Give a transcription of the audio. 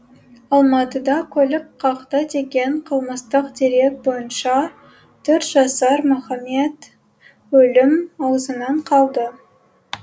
алматыда көлік қақты деген қылмыстық дерек бойынша төрт жасар мұхамед өлім аузынан қалды